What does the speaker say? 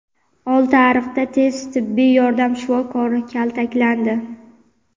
Oltiariqda tez tibbiy yordam shifokori kaltaklandi.